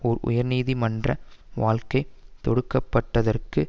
ஒரு உயர் நீதி மன்ற வழக்கை தொடுப்பதற்காக